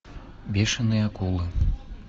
бешеные акулы